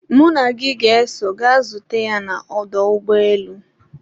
mụ na gị ga-eso ga zute ya na ọdọ ụgbọelu